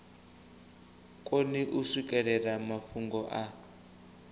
koni u swikelela mafhungo a